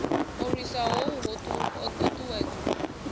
u lwisa hohu ho ṱuṱuwedzwa